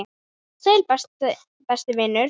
Sæll, besti vinur minn.